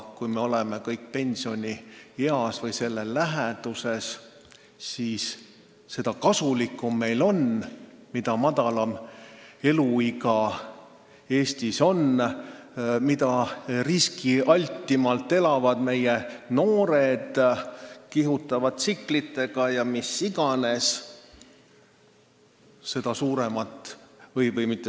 Kui me oleme pensionieas või nii vanaks saamas, siis seda kasulikum meile on, mida madalam on keskmine eluiga Eestis, mida riskialtimalt elavad meie noored – kihutavad tsiklitega ja mis iganes.